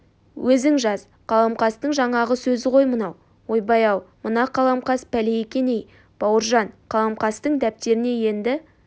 өзің жаз қаламқастың жаңағы сөзі ғой мынау ойбай-ау мына қаламқас пәле екен-ей бауыржан қаламқастың дәптеріне енді